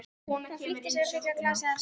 Hún flýtti sér að fylla glasið hans af mjólk.